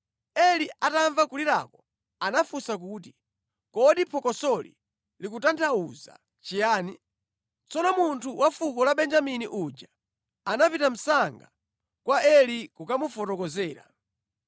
Eli atamva kulirako anafunsa kuti, “Kodi phokosoli likutanthauza chiyani?” Tsono munthu wa fuko la Benjamini uja anapita msanga kwa Eli kukamufotokozera.